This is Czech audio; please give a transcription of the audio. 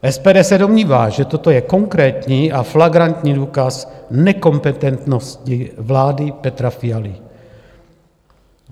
SPD se domnívá, že toto je konkrétní a flagrantní důkaz nekompetentnosti vlády Petra Fialy.